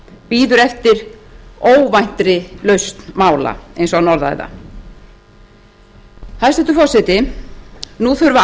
bíður eftir óvæntri lausn mála eins og hann orðaði það hæstvirtur forseti nú þurfa